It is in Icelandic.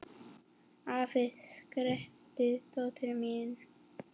Afi! skrækti dóttir mín.